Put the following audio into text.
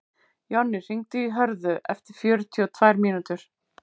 Jonni, hringdu í Hörðu eftir fjörutíu og tvær mínútur.